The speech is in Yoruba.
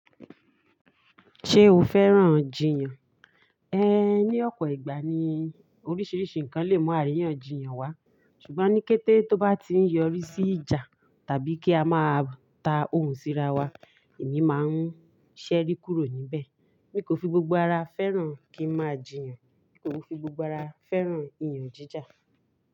Ṣé o fẹ́ràn jiyàn? Ẹ̀ẹ́ ni ọ̀pọ̀ ìgbà ni oríṣiiríṣii ǹkan lè mú àríyànjiyàn wá ṣùgbọ́n ní kété tó bá ti ń yọrí sí ìjà tàbí kí a máa ta ohùn sí ra wa èmi máa ń ṣẹ́rí kúrò ní bẹ̀. Mi kò fi gbogbo ara fẹ́ràn kí n máa jìyàn, n kò fi gbogbo ara fẹ́ràn ìyànjíjà.